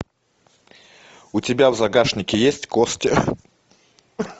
у тебя в загашнике есть кости